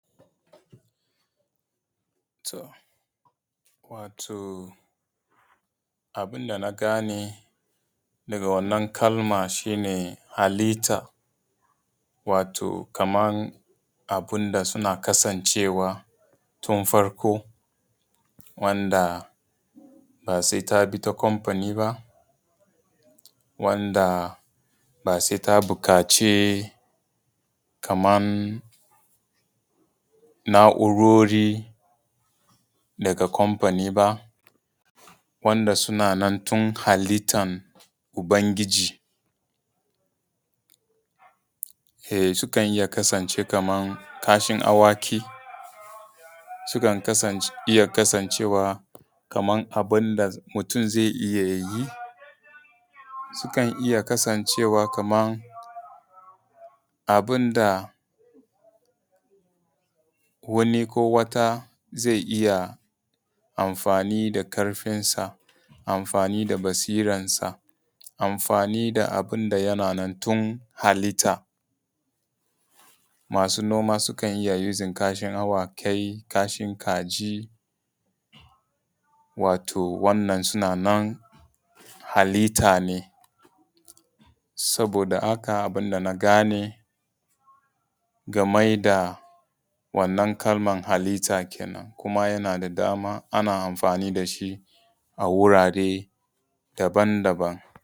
Wato abin da na gane daga wannan kalma shi ne halitta wato kaman abun da suna kasancewa tun farko wanda ba sai ta bi ta kamfani ba wanda ba sai ta buƙaci kaman na’urori daga kamfani ba wanda suna nna tun halittan ubangiji. Sukan iya kasancewa kaman kashin awaki, sukan iya kasancewa kaman abin da mutun zai iya yi, sukan iya kasancewa kaman abin da wani ko wata zai iya amfani da ƙarfinsa, amfani da basiransa, amfani da abun da yana nan tun halitta. Masu noma sukan iya amfani da kashin awaki, kai kashin kaji wato wannan suna nan halitta ne, saboda haka abun da na game game da wannan kalman halitta kenan kuma yana da dama, ana amfani da shi a wurare daban-daban.